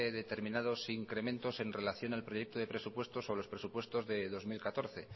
determinados incrementos en relación al proyecto de presupuestos o a los presupuestos de dos mil catorce